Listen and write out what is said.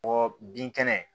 Bɔ bin kɛnɛ